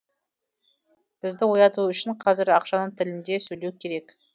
бізді ояту үшін қазір ақшаның тілінде сөйлеу керек